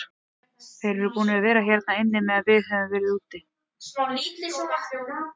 Þeir eru búnir að vera hérna inni meðan við höfum verið úti.